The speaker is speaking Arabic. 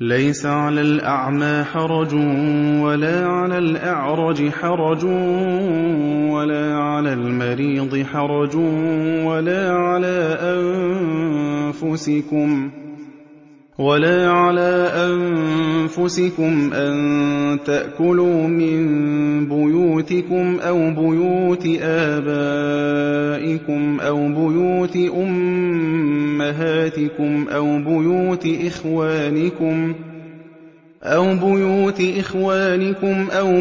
لَّيْسَ عَلَى الْأَعْمَىٰ حَرَجٌ وَلَا عَلَى الْأَعْرَجِ حَرَجٌ وَلَا عَلَى الْمَرِيضِ حَرَجٌ وَلَا عَلَىٰ أَنفُسِكُمْ أَن تَأْكُلُوا مِن بُيُوتِكُمْ أَوْ بُيُوتِ آبَائِكُمْ أَوْ بُيُوتِ أُمَّهَاتِكُمْ أَوْ بُيُوتِ إِخْوَانِكُمْ أَوْ